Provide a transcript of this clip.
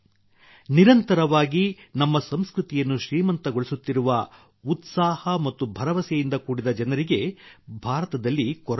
ನಿರಂತರವಾಗಿ ನಮ್ಮ ಸಂಸ್ಕೃತಿಯನ್ನು ಶ್ರೀಮಂತಗೊಳಿಸುತ್ತಿರುವ ಉತ್ಸಾಹ ಮತ್ತು ಭರವಸೆಯಿಂದ ಕೂಡಿದ ಜನರಿಗೆ ಭಾರತದಲ್ಲಿ ಕೊರತೆಯಿಲ್ಲ